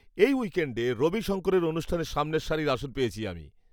এই উইকেণ্ডে রবি শঙ্করের অনুষ্ঠানে সামনের সারির আসন পেয়েছি আমি!